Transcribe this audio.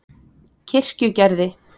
Kirkjugerði